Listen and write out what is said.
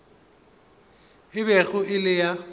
e bego e le ya